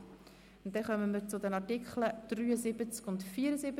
Wir kommen zu den Artikeln 73 und 74.